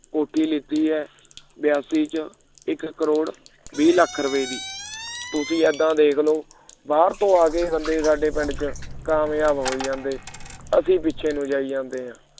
ਕੋਠੀ ਦਿੱਤੀ ਹੈ ਬਿਆਸੀ ਚ ਇਕ ਕਰੋੜ ਵੀਹ ਲੱਖ ਰੁਪਏ ਦੀ ਤੁਸੀਂ ਏਦਾਂ ਦੇਖ ਲਓ ਬਾਹਰ ਤੋਂ ਬੰਦੇ ਆ ਕੇ ਸਾਡੇ ਪਿੰਡ ਵਿਚ ਕਾਮਯਾਬ ਹੋ ਹੀ ਜਾਂਦੇ ਅਸੀਂ ਪਿੱਛੇ ਨੂੰ ਜਾਈ ਜਾਂਦੇ ਹਾਂ